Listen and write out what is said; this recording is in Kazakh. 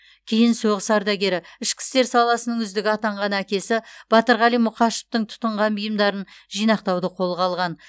кейін соғыс ардагері ішкі істер саласының үздігі атанған әкесі батырғали мұқашевтың тұтынған бұйымдарын жинақтауды қолға алған